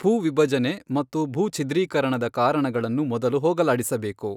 ಭೂವಿಭಜನೆ ಮತ್ತು ಭೂಛಿದ್ರೀಕರಣದ ಕಾರಣಗಳನ್ನು ಮೊದಲು ಹೋಗಲಾಡಿಸಬೇಕು.